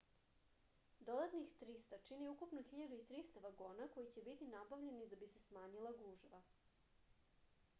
dodatnih 300 čini ukupno 1.300 vagona koji će biti nabavljeni da bi se smanjila gužva